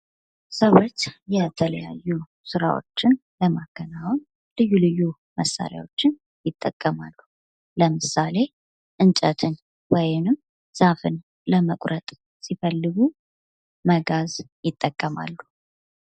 ሰዎች የተለያዩ ስራዎችን ለማከናውን ልዩ ልዩ መሳሪያዎችን ይጠቀማሉ። ለምሳሌ እንጨትን ወይም ዛፍን ለመቁረጥ ሲፈልጉ መጋዝ ይጠቀማሉ።